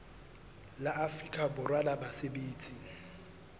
la afrika borwa la basebetsi